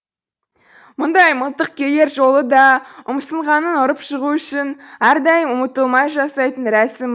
мұндай мылтық келер жолы да ұмсынғанын ұрып жығу үшін әрдайым ұмытылмай жасайтын рәсім